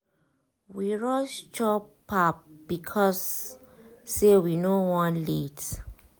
we rush chop pap because say we no wan late.